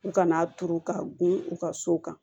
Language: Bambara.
U kana turu ka gun u ka so kan